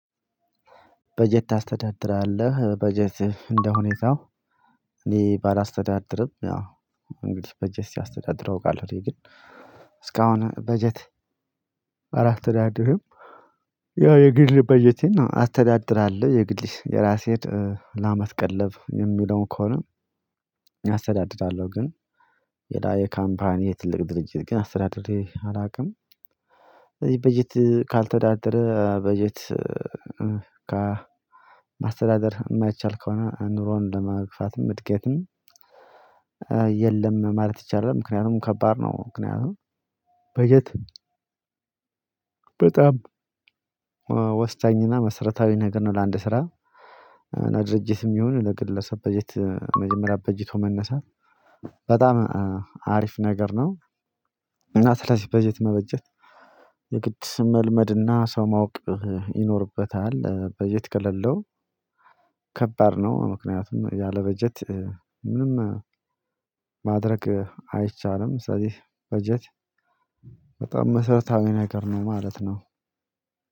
በጀት ታስተዳድራለህ በጀት እንደሆነ ይዛው እኔ ባላስተዳድርም ያው እንግዲህ በጀት ሲያስተዳድሩ እወቃለሁ እኔ ግን እስካሁን በጀት አላስተዳድርም። ያው የግል በጀቴን አስተዳድራለሁ የግል የራሴን ለአመት ቀለብ የሚውለውን ከሆነ አስተዳድራለሁ። ግን ሌላ የካምፓኒ የትልቅ ድርጅት ግን አስተዳድሬ አላውቅም። ስለዚህ በጀት ካልተዳደረ በጀት ከ ማስተዳደር የማይቻል ከሆነ ኑሮን ለመግፋትም እድገትም የለም ማለት ይቻላል። ምክንያቱም ከባድ ነው። ምክንያቱም በጀት በጣም ወሳኝና መሰረታዊ ነገር ነው። ለአንድ ስራ ለድርጅትም ይሁን ለግለሰብ በጀት መጀመሪያ በጅቶ መነሳት በጣም አሪፍ ነገር ነው። እና ስለዚህ በጀት መበጀት የግድ ስም መልመድና ሰው ማወቅ ይኖርበታል። በጀት ከሌለው ከባድ ነው። ምክንያቱም ያለ በጀት ምንም ማድረግ አይቻልም። ስለዚህ በጀት በጣም መሰረታዊ ነገር ነው ማለት ነው።